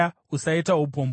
Usaita upombwe.